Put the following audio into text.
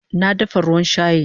Na dafa ruwan shayi